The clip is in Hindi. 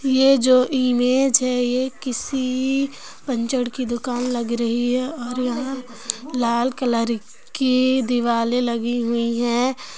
ये जो इमेज है ये किसी पंचर की दुकान लग रही है और यहा लाल कलर की देवरे लागि हुई है।